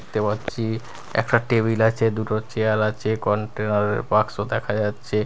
দেখতে পাচ্ছি একটা টেবিল আছে দুটো চেয়ার আছে কন্টেনার -এর বাক্স দেখা যাচ্ছে।